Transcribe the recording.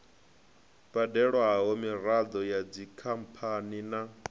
badelwaho miraḓo ya dzikhamphani na